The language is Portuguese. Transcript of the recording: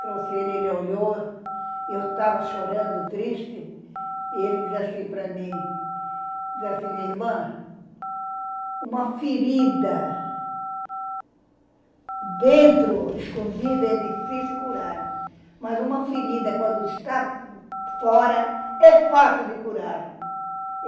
Trouxe ele, ele olhou e eu estava chorando, triste, e ele disse assim para mim, disse assim, irmã, uma ferida dentro, escondida, é difícil curar, mas uma ferida, quando está fora, é fácil de curar.